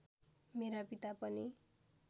मेरा पिता पनि